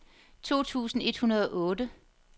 to tusind et hundrede og otte